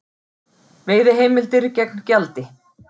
Veiðiheimildir gegn gjaldi